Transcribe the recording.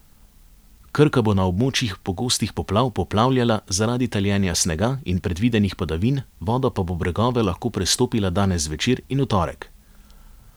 Krka bo na območjih pogostih poplav poplavljala zaradi taljenja snega in predvidenih padavin, voda pa bo bregove lahko prestopila danes zvečer in v torek.